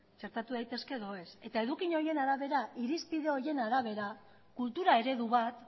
txertatu daitezke edo ez eta eduki horien arabera irizpide horien arabera kultura eredu bat